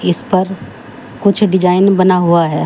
इस पर कुछ डिजाइन बना हुआ है।